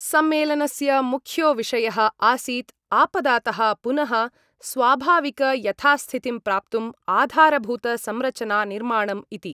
सम्मेलनस्य मुख्यो विषयः आसीत् आपदातः पुनः स्वाभाविकयथास्थितिं प्राप्तुम् आधारभूतसंरचना निर्माणम् इति।